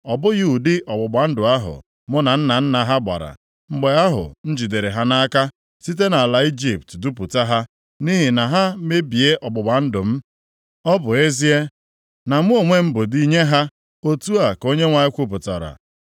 Ọ bụghị ụdị ọgbụgba ndụ ahụ mụ na nna nna ha gbara, mgbe ahụ m jidere ha nʼaka site nʼala Ijipt dupụta ha, nʼihi na ha mebie ọgbụgba ndụ m, ọ bụ ezie na mụ onwe m bụ di nye ha,” Otu a ka Onyenwe anyị kwupụtara.